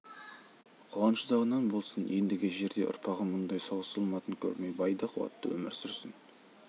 қуаныш ұзағынан болсын ендігі жерде ұрпағым мұндай соғыс зұлматын көрмей бай да қуатты өмір сүрсін